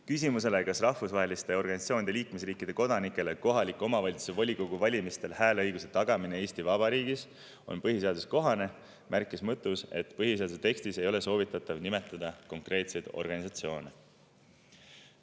Küsimusele, kas rahvusvaheliste organisatsioonide liikmesriikide kodanikele kohaliku omavalitsuse volikogu valimistel hääleõiguse tagamine Eesti Vabariigis on põhiseadusekohane, märkis Mõttus, et põhiseaduse tekstis ei ole soovitatav nimetada konkreetseid organisatsioone.